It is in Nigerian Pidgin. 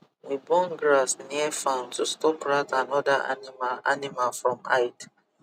we burn grass near farm to stop rat and other animal animal from hide